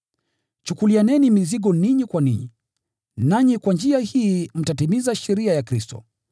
Chukulianeni mizigo ninyi kwa ninyi, nanyi kwa njia hii mtatimiza sheria ya Kristo.